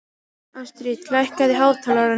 Astrid, lækkaðu í hátalaranum.